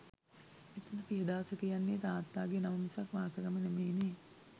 මෙතන පියදාස කියන්නේ තාත්තාගේ නම මිසක් වාසගම නෙමෙයිනේ.